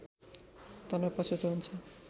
तँलाई पछुतो हुन्छ